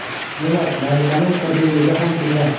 Demak, malikaning sirliligi ham shunda.